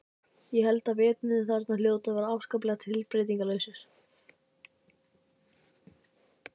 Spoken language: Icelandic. Ég held að veturnir þarna hljóti að vera afskaplega tilbreytingarlausir.